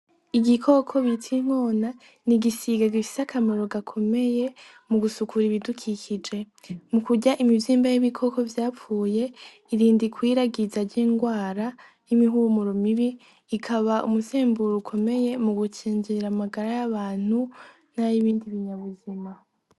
Igikoko bita inkona n'igisiga gifise akamaro gakomeye mu gusukura ibidukikije mukurya imivyimba y'ibikoko vyapfuye irinda ikwiragwiza ry'ingwara y'imihumuro mibi ikaba umuhemburo ukomeye mugukingira amagara y'abantu n'ayibindi binyabuzima.